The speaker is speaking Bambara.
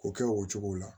O kɛ o cogo la